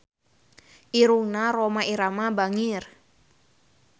Irungna Rhoma Irama bangir